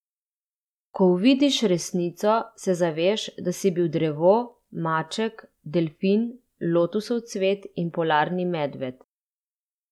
Ko uvidiš resnico se zaveš, da si bil drevo, maček, delfin, lotusov cvet in polarni medved.